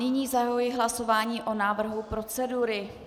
Nyní zahajuji hlasování o návrhu procedury.